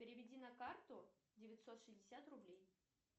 переведи на карту девятьсот шестьдесят рублей